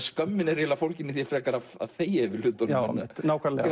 skömmin er eiginlega fólgin í því frekar að þegja yfir hlutunum nákvæmlega